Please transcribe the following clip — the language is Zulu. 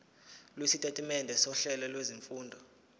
lwesitatimende sohlelo lwezifundo